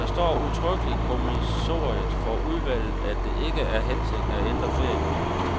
Der står udtrykkeligt i kommissoriet for udvalget, at det ikke er hensigten at ændre ferieloven.